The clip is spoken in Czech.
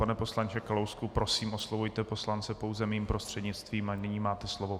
Pane poslanče Kalousku, prosím, oslovujte poslance pouze mým prostřednictvím, a nyní máte slovo.